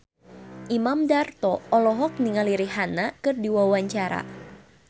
Imam Darto olohok ningali Rihanna keur diwawancara